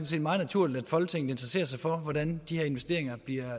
set meget naturligt at folketinget interesserer sig for hvordan de her investeringer bliver